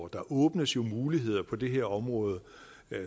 der åbnes jo muligheder på det område